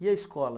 E a escola?